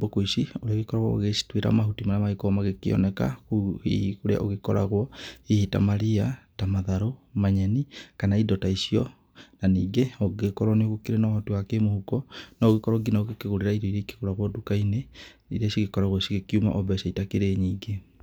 bũkũ ici, ũrĩgĩkoragwo ũgĩcituĩra mahuti marĩa marĩgĩkoragwo magĩkĩoneka kũu hihi kũrĩa ũgĩkoragwo, hihi ta mariya, ta matharũ, manyeni, kana indo ta icio. Na ningĩ ũngĩgĩkorwo nĩ ũkĩrĩ na ũhoti wa kĩmũhuko no ũgĩkorwo ngĩna ũgĩkĩgũrĩra irio iria ikĩgũragwo duka-inĩ, iria cigĩkoragwo cigĩkiũma o mbeca itakĩrĩ nyingĩ.